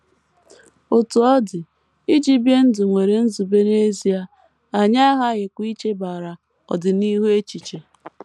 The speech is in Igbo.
Otú ọ dị, iji bie ndụ nwere nzube n’ezie, anyị aghaghịkwa ichebara ọdịnihu echiche.